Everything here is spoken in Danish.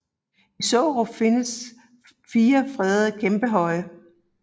I Sårup findes fire fredede kæmpehøje